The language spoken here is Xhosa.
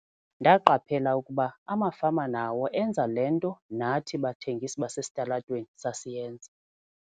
"Ndaqaphela ukuba amafama nawo enza le nto nathi bathengisi basesitalatweni sasiyenza."